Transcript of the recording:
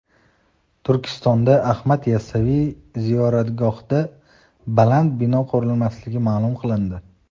Turkistonda Ahmad Yassaviy ziyoratgohidan baland bino qurilmasligi ma’lum qilindi.